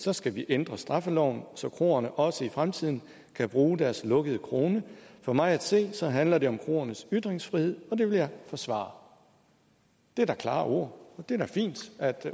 så skal vi ændre straffeloven så kroerne også i fremtiden kan bruge deres lukkede krone for mig at se så handler det jo om kroernes ytringsfrihed og det vil jeg forsvare det er da klare ord og det er fint at